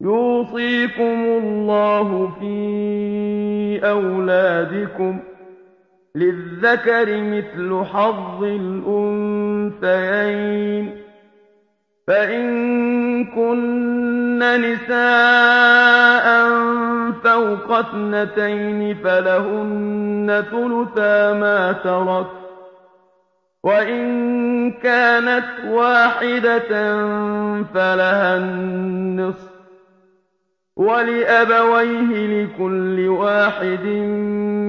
يُوصِيكُمُ اللَّهُ فِي أَوْلَادِكُمْ ۖ لِلذَّكَرِ مِثْلُ حَظِّ الْأُنثَيَيْنِ ۚ فَإِن كُنَّ نِسَاءً فَوْقَ اثْنَتَيْنِ فَلَهُنَّ ثُلُثَا مَا تَرَكَ ۖ وَإِن كَانَتْ وَاحِدَةً فَلَهَا النِّصْفُ ۚ وَلِأَبَوَيْهِ لِكُلِّ وَاحِدٍ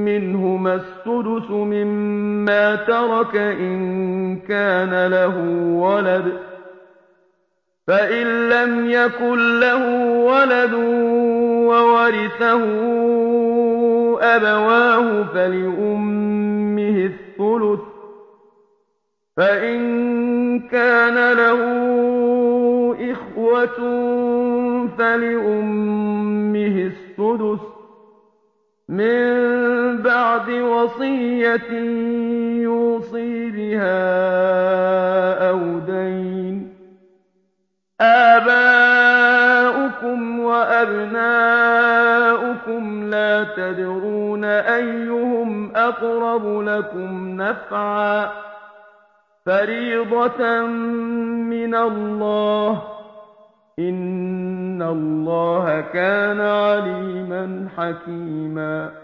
مِّنْهُمَا السُّدُسُ مِمَّا تَرَكَ إِن كَانَ لَهُ وَلَدٌ ۚ فَإِن لَّمْ يَكُن لَّهُ وَلَدٌ وَوَرِثَهُ أَبَوَاهُ فَلِأُمِّهِ الثُّلُثُ ۚ فَإِن كَانَ لَهُ إِخْوَةٌ فَلِأُمِّهِ السُّدُسُ ۚ مِن بَعْدِ وَصِيَّةٍ يُوصِي بِهَا أَوْ دَيْنٍ ۗ آبَاؤُكُمْ وَأَبْنَاؤُكُمْ لَا تَدْرُونَ أَيُّهُمْ أَقْرَبُ لَكُمْ نَفْعًا ۚ فَرِيضَةً مِّنَ اللَّهِ ۗ إِنَّ اللَّهَ كَانَ عَلِيمًا حَكِيمًا